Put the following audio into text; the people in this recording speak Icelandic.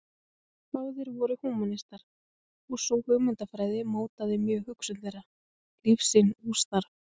Báðir voru húmanistar og sú hugmyndafræði mótaði mjög hugsun þeirra, lífssýn og starf.